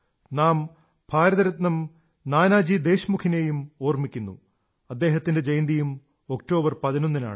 നാം ഭാരത രത്ന നാനാജി ദേശ്മുഖിനെയും ഓർമ്മിക്കുന്നു അദ്ദേഹത്തിന്റെ ജയന്തിയും ഒക്ടോബർ 11 ന് ആണ്